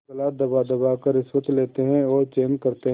गला दबादबा कर रिश्वतें लेते हैं और चैन करते हैं